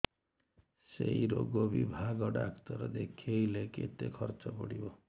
ସେଇ ରୋଗ ବିଭାଗ ଡ଼ାକ୍ତର ଦେଖେଇଲେ କେତେ ଖର୍ଚ୍ଚ ପଡିବ